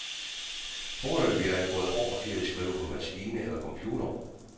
Foreløbig er jeg gået over til at skrive på maskine eller computer.